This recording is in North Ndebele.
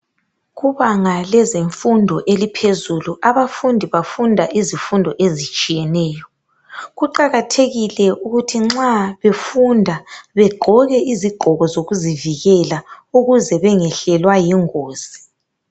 Kubanga lezemfundo eliphezulu abafundi bafunda izifundo ezitshiyeneyo. Kuqakathekile ukuthi nxa befunda begqoke izigqoko zokuzivikela ukuze bengehlelwa yingozi.